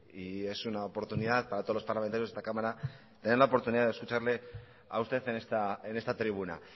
y es una oportunidad para todos los parlamentarios de esta cámara tener la oportunidad de escucharle a usted en esta tribuna